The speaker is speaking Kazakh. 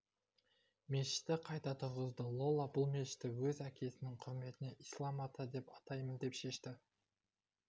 мешітті қайта тұрғызды лола бұл мешітті өз әкесінің құрметіне ислам ата деп атаймын деп шешіпті